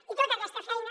i tota aquesta feina